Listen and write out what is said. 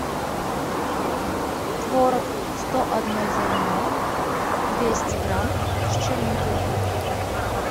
творог сто одно зерно двести грамм с черникой